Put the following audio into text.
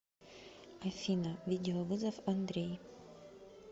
афина видеовызов андрей